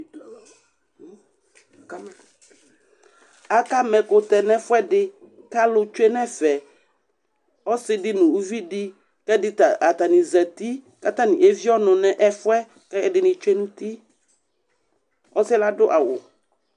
Akama ɛkʋtɛ nʋ ɛfʋɛdɩ kʋ alʋ tsue nʋ ɛfɛ Ɔsɩ dɩ nʋ uvi dɩ kʋ ɛdɩ ta, atanɩ zati kʋ atanɩ evie ɔnʋ nʋ ɛfʋ yɛ kʋ ɛdɩnɩ tsue nʋ uti Ɔsɩ yɛ adʋ awʋ